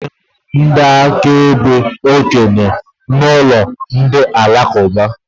A na-enwe ndị akaebe okenye na alụmalụ ndị Alakụba.